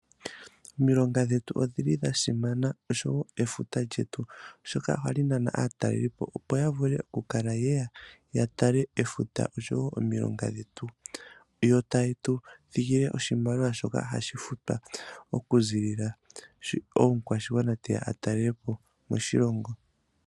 Omilonga dhetu odha simana noshowo efuta lyetu, oshoka ohayi nana aatalelipo, opo ye ye ya tale efuta noshowo omilonga dhetu, yo taye tu thigile oshimaliwa shoka hashi futwa okuziilila sho omukwashigwana te ya a talele po moshilongo.